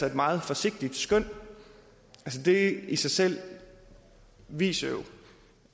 et meget forsigtigt skøn det i sig selv viser jo